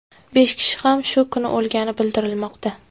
Besh kishi ham shu kuni o‘lgani bildirilmoqda.